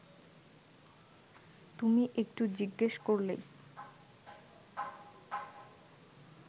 তুমি একটু জিজ্ঞেস করলেই